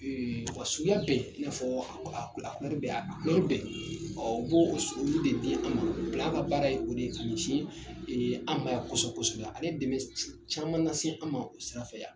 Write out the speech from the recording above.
wa suya bɛɛ i n'a fɔ a bɛɛ a bɛɛ b'o olu de di an ma ka baara ye o de ye k'u ci an ma yan kosɛbɛ kosɛbɛ a bɛ dɛmɛ caman lase an ma o sira fɛ yan.